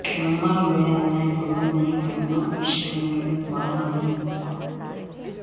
مرگیا میں تو غم نہیں کرنا عشق میں خوں بہا نہیں ہوتا